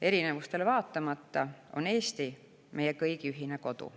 Erinevustele vaatamata on Eesti meie kõigi ühine kodu.